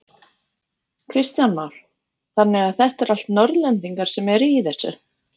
Kristján Már: Þannig að þetta eru allt Norðlendingar sem eru í þessu?